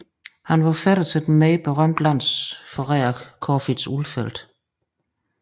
Han var fætter til den mere berømte landsforræder Corfitz Ulfeldt